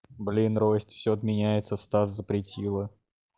блин ростик все отменяется стас запретила